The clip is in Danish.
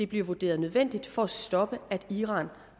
bliver vurderet nødvendigt for at stoppe at iran